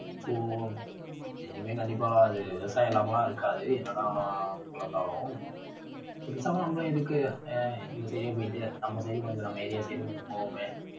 so இனிமே கண்டிப்பா அது விவசாயம் இல்லாமலாம் இருக்காது என்னனா, பேசாம நம்ம இதுக்கு ஆஹ் இந்த side போயிட்டு நம்ம side உம் கொஞ்சம் நம்ம area side உம் கொஞ்சம் போவோமே.